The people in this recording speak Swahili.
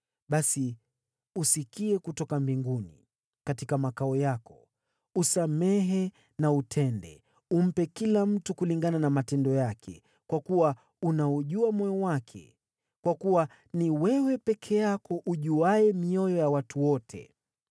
basi usikie kutoka mbinguni, katika makao yako. Usamehe na utende, umpe kila mtu kulingana na matendo yake, kwa kuwa unaujua moyo wake (kwa kuwa ni wewe peke yako ujuaye mioyo ya watu wote),